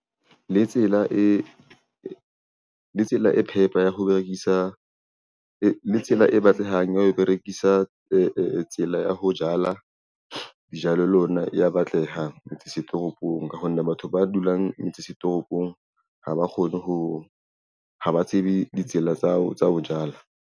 Le tsela e phepa ya ho berekisa tsela e batlehang ya ho berekisa tsela ya ho jala dijalo ya batleha toropong ka ho nne batho ba dulang toropong ha ba kgone ho, haba tsebe ditsela tsa hao tsa ho jala.